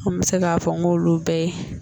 An bɛ se k'a fɔ n k'olu bɛɛ ye